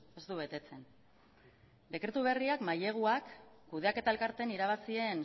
ez du betetzen dekretu berriak maileguak kudeaketa elkarteen irabazien